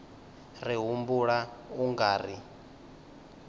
ri humbula u nga ri